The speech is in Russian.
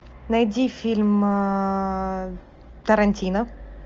найди фильм тарантино